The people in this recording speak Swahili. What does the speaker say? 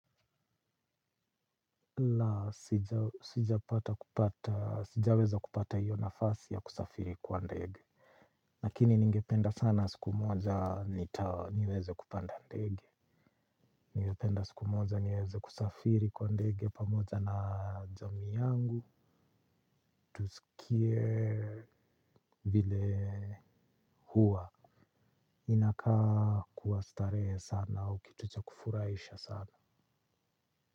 La, sijaweza kupata hiyo nafasi ya kusafiri kwa ndege, lakini ningependa sana siku moja niweze kupanda ndege. Ningependa siku moja niweze kusafiri kwa ndege pamoja na jamai yangu tusikie vile huwa inakaa kuwa starehe sana au kitu cha kufuraisha sana.